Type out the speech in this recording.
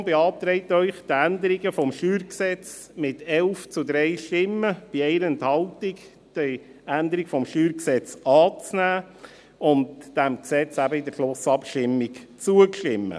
Die FiKo beantragt Ihnen mit 11 zu 3 Stimmen bei 1 Enthaltung, die Änderungen des StG anzunehmen und diesem Gesetz in der Schlussabstimmung zuzustimmen.